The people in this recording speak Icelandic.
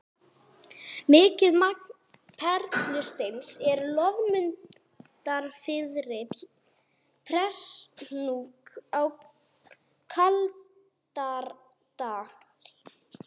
Mikið magn perlusteins er í Loðmundarfirði og Prestahnúk á Kaldadal.